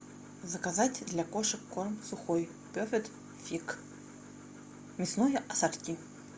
заказать для кошек корм сухой перфект фит мясное ассорти